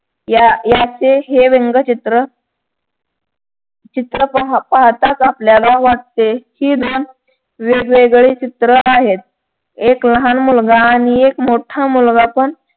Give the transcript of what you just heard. या याचे हे व्यंगचित्र चित्र पाहताच आपल्याला वाटते कि हे वेगवेगळे चित्र आहेत. एक लहान मुलगा आणि एक मोठा मुलगा पण